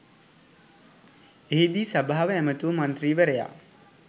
එහිදී සභාව ඇමතු මන්ත්‍රීවරයා